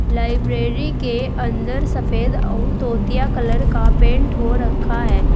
Library के अंदर सफेद और तोतिया कलर का पेंट हो रखा है।